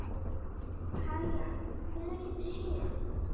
Kaía, hvenær kemur sjöan?